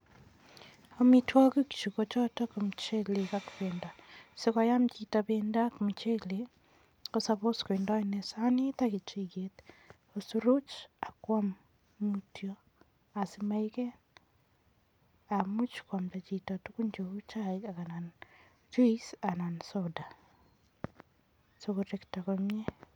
Omitwogik chuu ko chotok ko muchelek ak pendo. Sikoyam chito pendo ak muchelek, ko suppose kotindo inei sanit, ak kechiget ko soroch ak kwam mutyo, asimaiket. Much kwamda chito tugun cheu chaik, anan juice anan soda, sikorekto komie.